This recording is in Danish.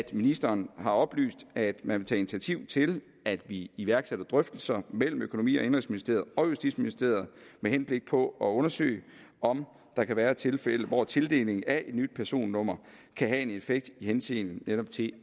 ministeren har oplyst at man vil tage initiativ til at vi iværksætter drøftelser mellem økonomi og indenrigsministeriet og justitsministeriet med henblik på at undersøge om der kan være tilfælde hvor tildeling af et nyt personnummer kan have en effekt i henseende til